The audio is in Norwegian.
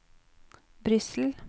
Brussel